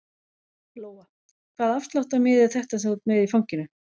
Lóa: Hvaða afsláttarmiði er þetta sem þú ert með í fanginu?